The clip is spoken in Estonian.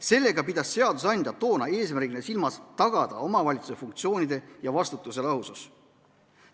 Seadusandja pidas toona eesmärgina silmas seda, et tuleb tagada omavalitsuse funktsioonide ja vastutuse lahusus.